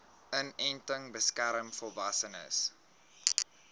inenting beskerm volwassenes